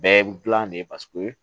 Bɛɛ dilan de ye paseke